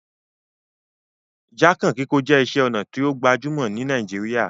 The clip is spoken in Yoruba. Jákàn kíkó je isé onà to gbajúmò ni Naijiria